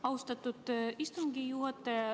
Austatud istungi juhataja!